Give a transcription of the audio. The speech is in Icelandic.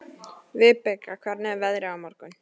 Vibeka, hvernig er veðrið á morgun?